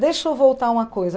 Deixa eu voltar uma coisa.